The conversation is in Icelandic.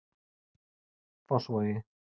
Fossvogi